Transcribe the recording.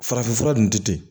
Farafinfura ninnu tɛ ten